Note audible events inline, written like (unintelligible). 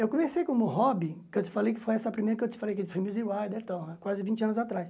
Eu comecei como hobby, que eu te falei que foi essa primeira que eu te falei, que foi Missy Wilder, (unintelligible) quase vinte anos atrás.